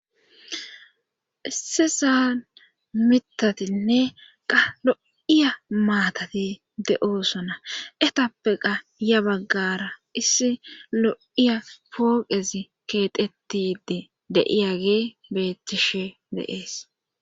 isse saan mitatinne qa lo7iya maatati de7oosona etappe qa ya baggara issi lo7iya pooqezi keetettide de7iyagee bettishe deees